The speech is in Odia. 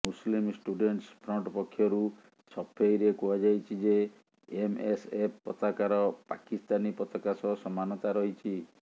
ମୁସଲିମ୍ ଷ୍ଟୁଡେଣ୍ଟସ ଫ୍ରଣ୍ଟ୍ ପକ୍ଷରୁ ସଫେଇରେ କୁହାଯାଇଛି ଯେ ଏମଏସଏଫ ପତାକାର ପାକିସ୍ତାନୀ ପତାକା ସହ ସମାନତା ରହିଛି